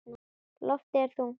Loftið er þungt.